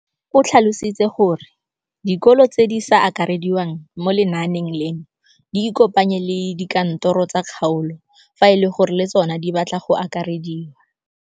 O tlhalositse gore dikolo tse di sa akarediwang mo lenaaneng leno di ikopanye le dikantoro tsa kgaolo fa e le gore le tsona di batla go akarediwa.